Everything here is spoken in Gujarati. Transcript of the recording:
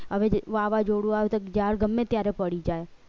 હવે વાવાઝોડું તો ત્યારે પડી જાય